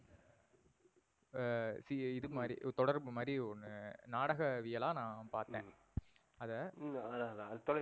ஆஹ் இது மாரி தொடர்புமாறி ஒன்னு நாடகவியலா நா பார்த்தன். அத அதா அதான்